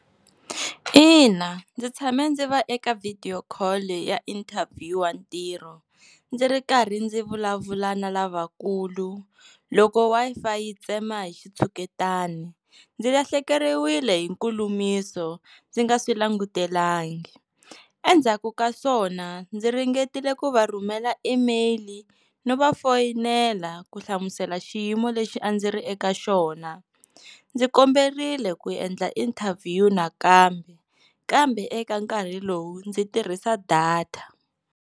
Ina, ndzi tshame ndzi va eka video call ya interview wa ntirho ndzi ri karhi ndzi vulavula na lavakulu loko Wi-Fi yi tsema hi xitshuketani ndzi lahlekeriwile hi nkulumiso ndzi nga swi langutelangi endzhaku ka swona ndzi ringetile ku va rhumela email no va foyinela ku hlamusela xiyimo lexi a ndzi ri eka xona ndzi komberile ku endla interview nakambe kambe eka nkarhi lowu ndzi tirhisa data.